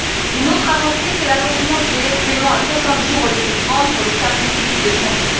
Une autre avancée se traduit par l'allongement du délai de paiement à 60 jours au lieu de 30 pour les services publics de santé.